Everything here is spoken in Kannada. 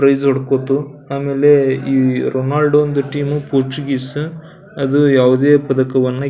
ಪ್ರೈಸ್ ಹೊಡ್ಕೊತ್ತು ಆಮೆಲೆ ಈ ರೊನೊಲ್ಡ್ಂದು ಟೀಮು ಪೋರ್ಚುಗೀಸ್ ಅದು ಯಾವುದೆ ಪದಕವನ್ನು --